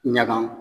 Ɲagan